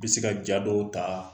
I bɛ se ka jat dɔw ta